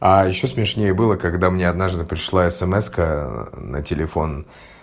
а ещё смешнее было когда мне однажды пришла смска на телефон